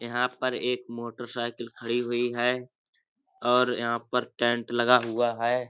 यहाँ पर एक मोटरसाइकिल खड़ी हुई है और यहाँ पर टेंट लगा हुआ है।